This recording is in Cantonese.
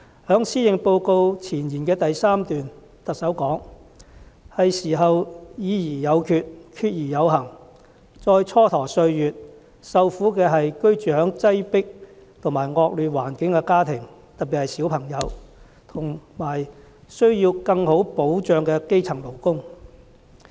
在施政報告前言的第3段，特首說："是時候要'議而有決、決而有行'，再蹉跎歲月，受苦的是居住在擠迫和惡劣環境的家庭，特別是小朋友，和需要更好退休保障的基層勞工"。